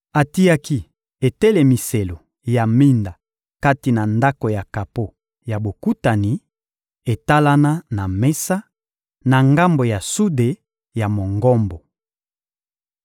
Atiaki etelemiselo ya minda kati na Ndako ya kapo ya Bokutani, etalana na mesa, na ngambo ya sude ya Mongombo.